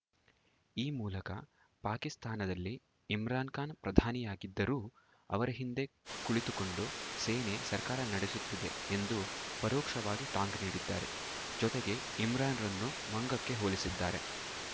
ಈ ಮೂಲಕ ಪಾಕಿಸ್ತಾನದಲ್ಲಿ ಇಮ್ರಾನ್‌ಖಾನ್‌ ಪ್ರಧಾನಿಯಾಗಿದ್ದರೂ ಅವರ ಹಿಂದೆ ಕುಳಿತುಕೊಂಡು ಸೇನೆ ಸರ್ಕಾರ ನಡೆಸುತ್ತಿದೆ ಎಂದು ಪರೋಕ್ಷವಾಗಿ ಟಾಂಗ್‌ ನೀಡಿದ್ದಾರೆ ಜೊತೆಗೆ ಇಮ್ರಾನ್‌ರನ್ನು ಮಂಗಕ್ಕೆ ಹೋಲಿಸಿದ್ದಾರೆ